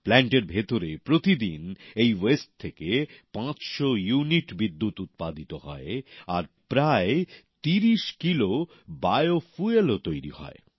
প্ল্যান্টের ভেতরে প্রতিদিন এই বর্জ্য থেকে ৫০০ ইউনিট বিদ্যুৎ উৎপাদিত হয় আর প্রায় ৩০ কিলো জৈব জ্বালানীও তৈরী হয়